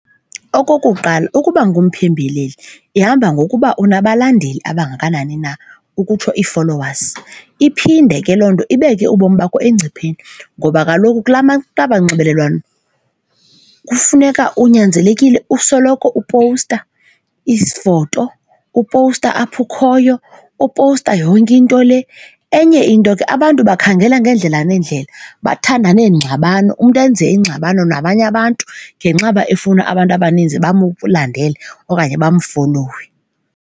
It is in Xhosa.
Okokuqala ukuba ngumpembeleli ihamba ngokuba unabalandeli abangakanani na, ukutsho ii-followers. Iphinde ke loo nto ibeke ubomi bakho engcipheni ngoba kaloku kulaa kwaba nxibelelwano kufuneka unyanzelekile usoloko upowusta iifoto, upowusta apho ukhoyo, upowuseta yonke into le. Enye into ke abantu bakhangela ngeendlela neendlela bathanda neengxabano, umntu enze ingxabano nabanye abantu ngenxa yoba efuna abantu abaninzi bamlandele okanye bamfolowe.